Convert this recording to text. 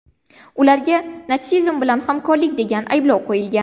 Ularga natsizm bilan hamkorlik degan ayblov qo‘yilgan.